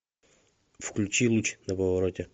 включи луч на повороте